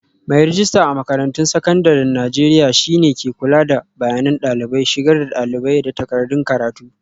Mai rejista a makarantun sakandaren Najeriya shi ne ke kula da bayanan dalibai, shigar da dalibai, da takardun karatu.